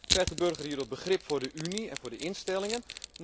Krijgt de burger hierdoor begrip voor de Unie en voor de instellingen?